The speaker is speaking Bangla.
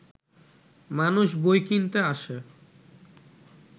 মানুষ বই কিনতে আসে